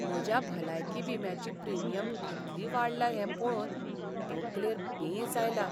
म्हज्या भलायकी विम्याची प्रीमियम कितली वाडल्या हें पळोवन तकलेर पेंच आयला.